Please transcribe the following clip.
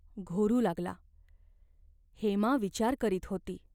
घोरू लागला. हेमा विचार करीत होती.